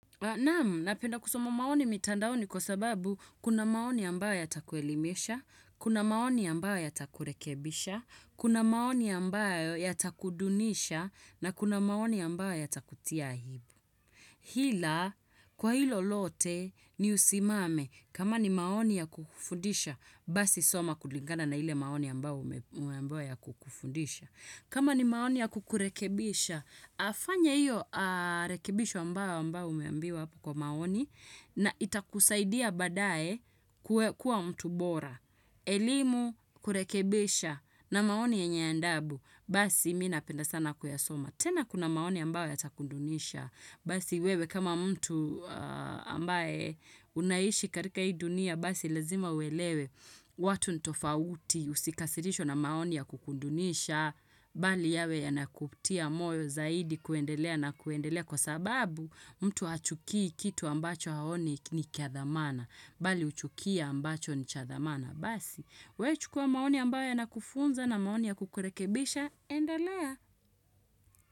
Na penda kusoma maoni mitandaoni kwa sababu kuna maoni ambayo yatakuelimesha, kuna maoni ambayo yatakurekebisha, kuna maoni ambayo yatakudunisha na kuna maoni ambayo yatakutia aibu. Ila kwa hilo lote ni usimame kama ni maoni ya kufundisha basi soma kulingana na ile maoni ambayo umeambiwa ya kukufundisha. Kama ni maoni ya kukurekebisha, afanye hiyo rekebisho ambayo umeambiwa kwa maoni na itakusaidia baadaye kuwa mtu bora. Elimu kurekebisha na maoni yenye adabu, basi mimi napenda sana kuyasoma. Tena kuna maoni ambayo ya takudunisha, basi wewe kama mtu ambaye unaishi katika hii dunia, basi lazima uelewe. Watu ni tofauti usikasirishwe na maoni ya kukudunisha, bali yawe yanakutia moyo zaidi kuendelea na kuendelea kwa sababu mtu achukii kitu ambacho haoni ni kiadhamana, bali huchukia ambacho ni chadhamana. Basi, we chukua maoni ambayo yanakufunza na maoni ya kukurekebisha, endelea.